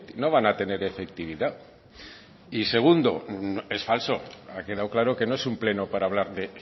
no van a tener efectividad y segundo es falso ha quedado claro que no es un pleno para hablar de